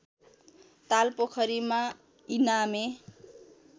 ताल पोखरीमा इनामे